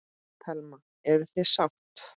Telma: Eruð þið sátt?